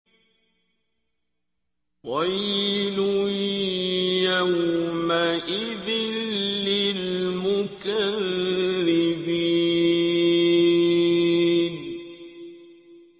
وَيْلٌ يَوْمَئِذٍ لِّلْمُكَذِّبِينَ